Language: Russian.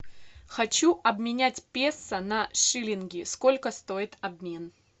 хочу обменять песо на шиллинги сколько стоит обмен